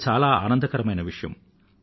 అది చాలా ఆనందకరమైన విషయం